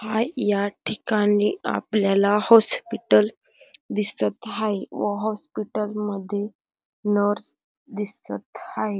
हा याठिकाणी आपल्याला हॉस्पिटल दिसत हाय व हॉस्पिटल मध्ये नर्स दिसत आहे.